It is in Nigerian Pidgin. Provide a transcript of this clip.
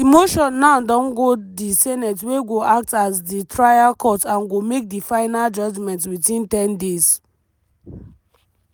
di motion now don go di senate wey go act as di trial court and go make di final judgment within ten days.